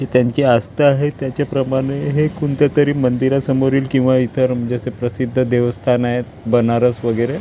त्यांची अस्था आहे त्याचेप्रमाणे हे कोणतेतरी मंदिरासमोरील किंवा इतर म्हणजे असे प्रसिद्ध देवस्थान आहे बनारस वगैरे--